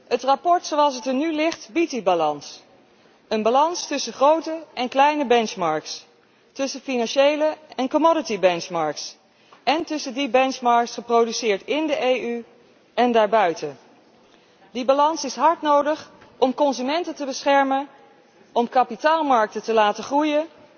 Het verslag, zoals het er nu ligt, biedt die balans, een balans tussen grote en kleine benchmarks, tussen financiële en benchmarks voor grondstoffen, en tussen die benchmarks geproduceerd in de EU en daarbuiten. Die balans is hard nodig om consumenten te beschermen, om kapitaalmarkten te laten groeien,